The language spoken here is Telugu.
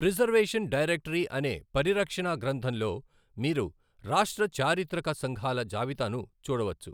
ప్రిజర్వేషన్ డైరెక్టరీ అనే పరిరక్షణా గ్రంధంలో మీరు రాష్ట్ర చారిత్రక సంఘాల జాబితాను చూడవచ్చు.